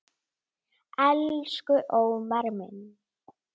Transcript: Elsku Ómar minn.